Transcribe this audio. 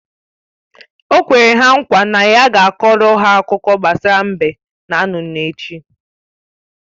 O kwere ha nkwa na ya ga-akọọrọ ha akụkọ gbasara mbe na nnụnụ echi